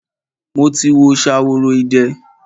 Mo ti wo Ṣaworoide.